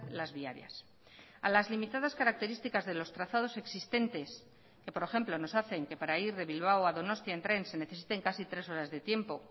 las viarias a las limitadas características de los trazados existentes que por ejemplo nos hacen que para ir de bilbao a donostia en tren se necesiten casi tres horas de tiempo